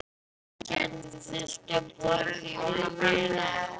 Hvað gerðuð þið skemmtilegt í jólafríinu?